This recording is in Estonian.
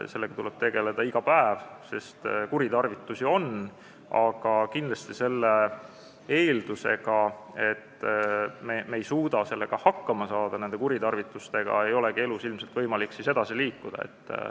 Sellega tuleb tegeleda iga päev, sest kuritarvitusi on, aga kindlasti, kui on juba eeldus, et me ei suuda nende kuritarvitustega hakkama saada, siis ei olegi elus ilmselt võimalik edasi liikuda.